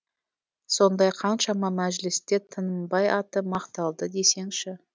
сондай қаншама мәжілісте тынымбай аты мақталды десеңші